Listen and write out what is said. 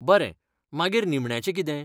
बरें, मागीर निमण्याचें कितें?